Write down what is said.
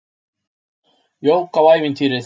Jók á ævintýrið.